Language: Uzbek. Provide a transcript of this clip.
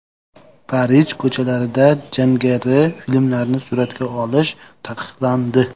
Parij ko‘chalarida jangari filmlarni suratga olish taqiqlandi.